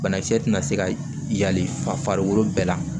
Banakisɛ tɛna se ka yali fa farikolo bɛɛ la